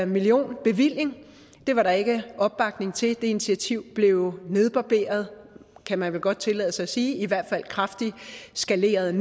millionbevilling det var der ikke opbakning til det initiativ blev nedbarberet kan man vil godt tillade sig at sige i hvert fald kraftigt skaleret